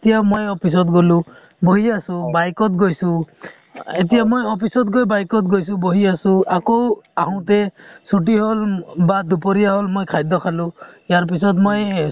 এতিয়া মই office ত গ'লো, বহি আছো , bike ত গৈছো, এতিয়া মই office ত গৈ bike ত গৈছো বহি আছো আকৌ আহোতে ছূটী হ'ল, মই খাদ্য খাঁলো ইয়াৰ পিছত মই,